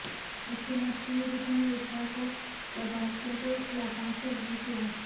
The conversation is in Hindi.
मुख्यमंत्री ने विभिन्न योजनाओं के लाभार्थियों को लाभांश का वितरण किया